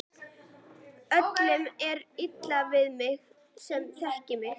Öllum er illa við þig sem þekkja þig!